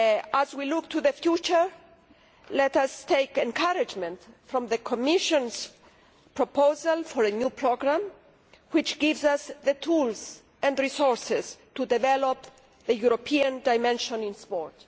As we look to the future, let us take encouragement from the Commission's proposal for a new programme, which gives us the tools and resources to develop a European dimension in sport.